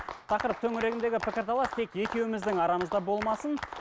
тақырып төңірегіндегі пікір талас тек екеуіміздің арамызда болмасын